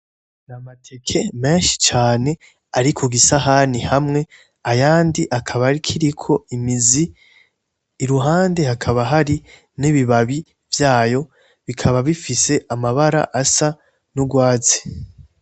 Ni amateke menshi cane ariku gisahani hamwe aya ndi akaba arikiriko imizi i ruhande hakaba hari n'ibibabi vyayo bikaba bifise amabara asa n'urwazi.